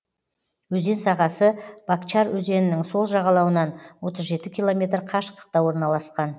өзен сағасы бакчар өзенінің сол жағалауынан отыз жеті километр қашықтықта орналасқан